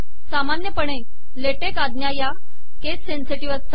सामानयतः latex आजा या केस सेनसेिटवह असतात